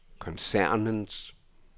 koncernens